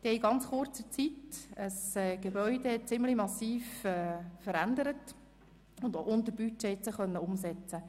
Sie haben dort in sehr kurzer Zeit ein Gebäude ziemlich massiv verändert und diese Arbeiten unter Budget beenden können.